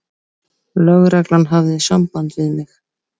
Lögreglan hafði samband við mig.